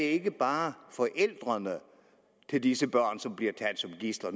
ikke bare er forældrene til disse børn som bliver taget som gidsler